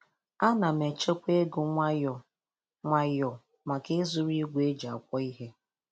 Ana m echekwa ego nwayọ nwayọ maka ịzụrụ igwe eji akwọ ihe